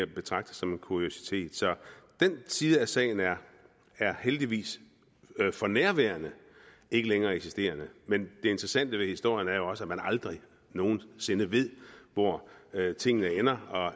betragter som en kuriositet så den side af sagen er heldigvis for nærværende ikke længere eksisterende men det interessante ved historien er jo også at man aldrig nogen sinde ved hvor tingene ender og